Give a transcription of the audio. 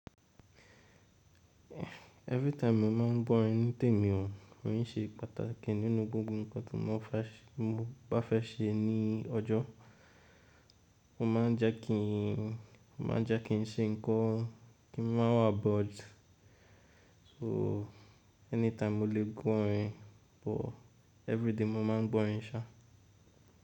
Every time mo ma ń gbọrin nítèmi o, o ń ṣe pàtàkì nínú gbogbo nǹkan tí mo bá fẹ́ ṣe ní ọjọ́. O máa ń jẹ́ ki ń ṣe nǹkan, kí n máa wa aboard. So anytime mo lè gbo orin but, everyday mo máa ń gbọ orin ṣa.